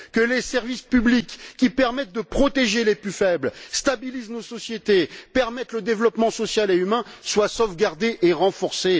Que les services publics, qui permettent de protéger les plus faibles, stabilisent nos sociétés, permettent le développement social et humain, soient sauvegardés et renforcés.